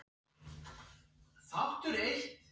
Rauðhærð eins og Kata, bunaði Lilla út úr sér.